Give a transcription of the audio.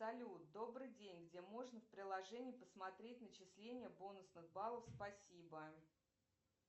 салют добрый день где можно в приложении посмотреть начисление бонусных баллов спасибо